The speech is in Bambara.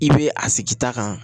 I bɛ a sigi ta kan